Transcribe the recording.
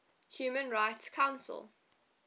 human rights council